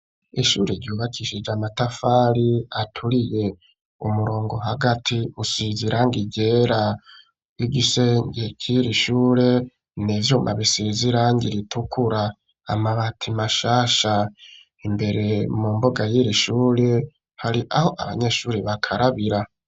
Ishure ryubakishije amatafari aturiye, umurongo hagati usizi irangi ryera igisenge c'irishure n'ivyuma bisize irange ritukura amabati mashasha, imbere mu mbuga y'irishure hari aho abanyeshure bakarabira.